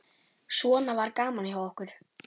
Svona var gaman hjá okkur.